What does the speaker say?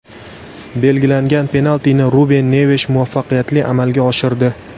Belgilangan penaltini Ruben Nevesh muvaffaqiyatli amalga oshirdi.